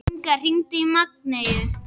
Inna, hringdu í Maggeyju.